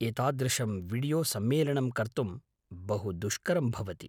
एतादृशं वीडियोसम्मेलनं कर्तुं बहुदुष्करं भवति।